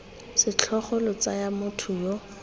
setlhogo lo tsaya motho yo